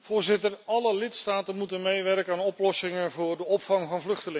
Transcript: Alle lidstaten moeten meewerken aan oplossingen voor de opvang van vluchtelingen.